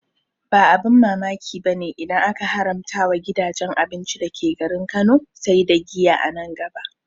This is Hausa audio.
Ba abin mamaki bane idan aka haramta wa gidajen abinci dake garin Kano sai da giya a nan gaba